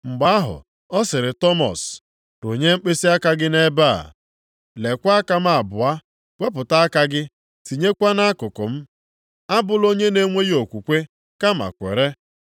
Mgbe ahụ ọ sịrị Tọmọs, “Rụnye mkpịsịaka gị nʼebe a, leekwa aka m abụọ. Wepụta aka gị tinyekwa nʼakụkụ m. Abụla onye na-enweghị okwukwe, kama kwere.”